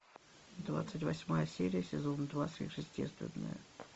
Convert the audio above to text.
двадцать восьмая серия сезона два сверхъестественное